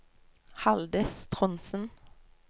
Haldis Trondsen